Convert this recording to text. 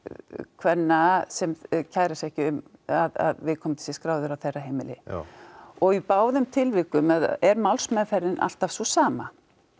kvenna sem kæra sig ekki um að viðkomandi sé skráður á þeirra heimili já og í báðum tilvikum er málsmeðferðin alltaf sú sama